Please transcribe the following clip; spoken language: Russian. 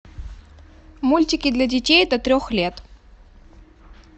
мультики для детей до трех лет